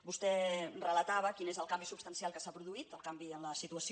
vostè relatava quin és el canvi substancial que s’ha produït el canvi en la situació